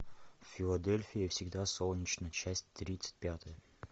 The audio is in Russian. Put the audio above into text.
в филадельфии всегда солнечно часть тридцать пятая